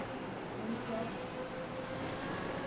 O nome do seu avô?